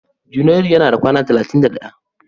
Junairu yana da kawa talatin da ɗaya.